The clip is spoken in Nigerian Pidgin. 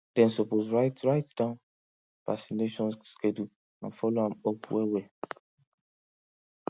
them suppose write write down vaccination schedule and follow am up well well